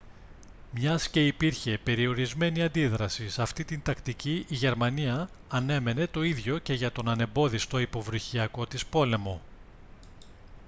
μιας και υπήρχε περιορισμένη αντίδραση σε αυτή την τακτική η γερμανία ανέμενε το ίδιο και για τον ανεμπόδιστο υποβρυχιακό της πόλεμο